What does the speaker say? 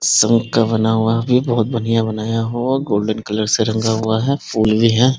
शंख का बना हुआ भी बहुत बढ़िया बनाया हुआ गोल्डन कलर से रंगा हुआ है फूल भी है।